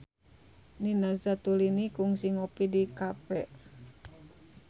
Nina Zatulini kungsi ngopi di cafe